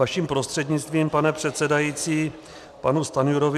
Vaším prostřednictvím, pane předsedající, panu Stanjurovi.